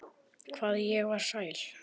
Hvað ég var sæl.